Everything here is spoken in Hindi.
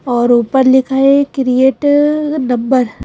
और ऊपर लिखा है क्रिएट नंबर ।